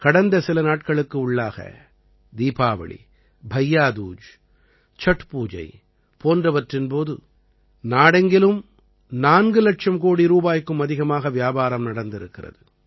கடந்த சில நாட்களுக்கு உள்ளாக தீபாவளி பையா தூஜ் சட் பூஜை போன்றவற்றின் போது நாடெங்கிலும் நான்கு இலட்சம் கோடி ரூபாய்க்கும் அதிகமாக வியாபாரம் நடந்திருக்கிறது